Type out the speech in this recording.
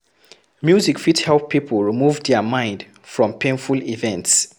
Music fit help pipo remove their mind from painful events